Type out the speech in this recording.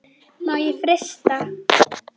Má frysta.